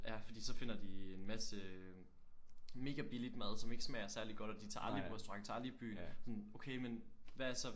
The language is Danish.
Ja fordi så finder de en masse øh mega billigt mad som ikke smager særligt godt og de tager aldrig på restaurant og de tager aldrig i byen. Sådan okay men hvad er så